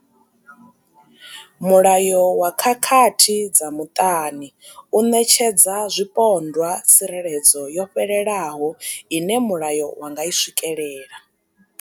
Mulayo wa khakhathi dza muṱani u ṋetshedza zwipondwa tsireledzo yo fhelelaho ine mulayo wa nga i swikela.